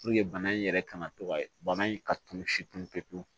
Puruke bana in yɛrɛ kana to ka bana in ka tunu si pe pewu